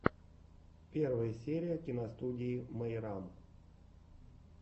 первая серия киностудии мейрам